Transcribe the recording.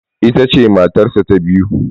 Ita ce matarsa ta biyu.